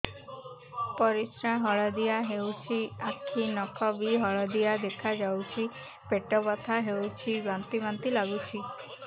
ପରିସ୍ରା ହଳଦିଆ ହେଉଛି ଆଖି ନଖ ବି ହଳଦିଆ ଦେଖାଯାଉଛି ପେଟ ବଥା ହେଉଛି ବାନ୍ତି ବାନ୍ତି ଲାଗୁଛି